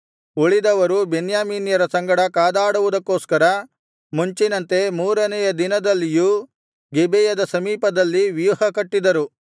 ಉಳಿದವರು ಬೆನ್ಯಾಮೀನ್ಯರ ಸಂಗಡ ಕಾದಾಡುವುದಕ್ಕೋಸ್ಕರ ಮುಂಚಿನಂತೆ ಮೂರನೆಯ ದಿನದಲ್ಲಿಯೂ ಗಿಬೆಯದ ಸಮೀಪದಲ್ಲಿ ವ್ಯೂಹಕಟ್ಟಿದರು